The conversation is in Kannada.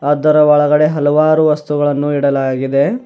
ಅದರ ಒಳಗಡೆ ಹಲವಾರು ವಸ್ತುಗಳನ್ನು ಇಡಲಾಗಿದೆ.